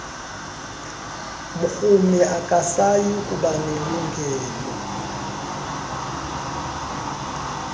mrhumi akasayi kubanelungelo